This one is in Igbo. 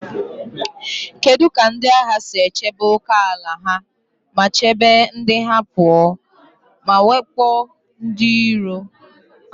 Kedu ka ndị agha si chebe ókèala ha ma chebe ndị ha pụọ na mwakpo ndị iro?